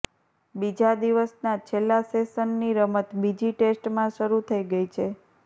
બીજા દિવસના છેલ્લા સેશનની રમત બીજી ટેસ્ટમાં શરૂ થઈ ગઈ છે